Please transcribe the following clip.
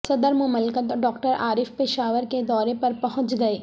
صدر مملکت ڈاکٹر عارف پشاور کے دورے پرپہنچ گئے